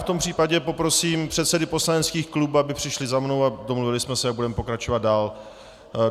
V tom případě poprosím předsedy poslaneckých klubů, aby přišli za mnou a domluvili jsme se, jak budeme pokračovat dál.